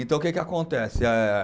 Então, o que que acontece? Eh